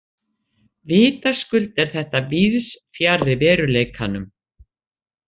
Vitaskuld er þetta víðs fjarri veruleikanum.